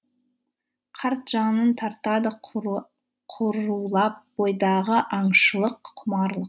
қарт жанын тартады құрулап бойдағы аңшылық құмарлық